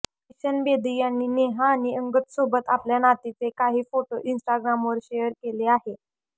बिशन बेदी यांनी नेहा आणि अंगदसोबत आपल्या नातीचे काही फोटो इन्स्टाग्रामवर शेअर केले आहे